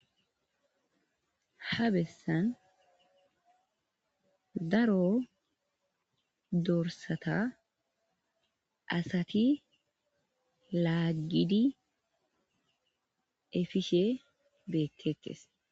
ha bessan daro dorsata asati laagidi efishe beettekkes